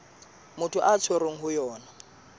motho a tshwerweng ho yona